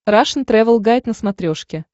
рашн тревел гайд на смотрешке